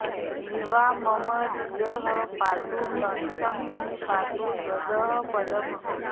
जिह्वा मम धियः पातु कण्ठं मे पातु यःपदम्